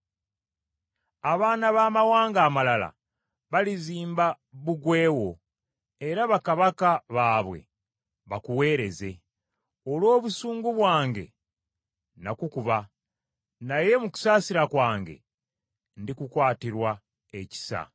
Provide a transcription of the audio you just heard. “Abaana b’abamawanga amalala balizimba bbugwe wo, era bakabaka baabwe bakuweereze; Olw’obusungu bwange, nakukuba, naye mu kusaasira kwange ndikukwatirwa ekisa.